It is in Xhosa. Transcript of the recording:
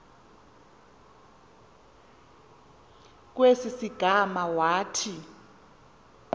kwesi sigama wathi